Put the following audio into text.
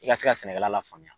I ka se ka sɛnɛkɛla la faamuya